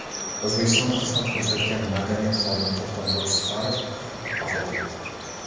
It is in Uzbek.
O‘zbekistonda xizmat ko‘rsatgan madaniyat xodimi To‘xtamurod Zufarov vafot etdi.